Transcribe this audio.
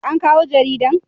an kawo jaridan??